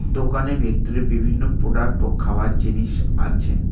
দোকানে ভিতরে বিভিন্ন প্রোডাক্ট ও খাবার জিনিস আছে।